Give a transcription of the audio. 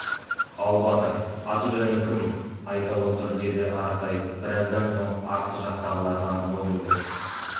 ал батыр аты-жөнің кім айта отыр деді аратай біраздан соң артқы жақтағыларға мойнын бұрып